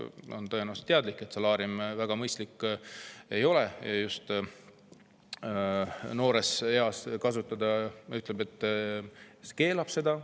Ta on tõenäoliselt teadlik, et ei ole väga mõistlik noores eas solaariumis käia, ja ta ütleb, et ta keelab selle ära.